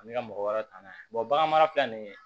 Ani ka mɔgɔ wɛrɛw ta n'a ye bagan mara nin ye